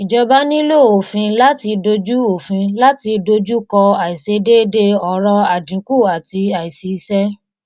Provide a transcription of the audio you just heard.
ìjọba nílò òfin láti dojú òfin láti dojú kọ àìsedéédéé ọrọ̀ àdínkù àti aìsísẹ́.